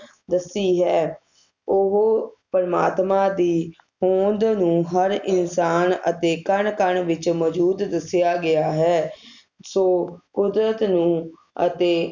ਦੱਸੀ ਹੈ ਉਹ ਪ੍ਰਮਾਤਮਾ ਦੀ ਹੋਂਦ ਨੂੰ ਹਰ ਇਨਸਾਨ ਅਤੇ ਕਣ ਕਣ ਵਿਚ ਮੌਜੂਦ ਦਸਿਆ ਗਿਆ ਹੈ ਸੋ ਕੁਦਰਤ ਨੂੰ ਅਤੇ